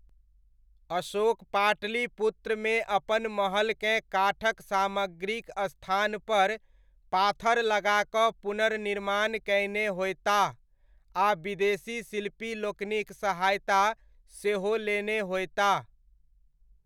अशोक पाटलिपुत्रमे अपन महलकेँ काठक सामग्रीक स्थानपर पाथर लगाकऽ पुनर्निर्माण कयने होयताह, आ विदेशी शिल्पी लोकनिक सहायता सेहो लेने होयताह।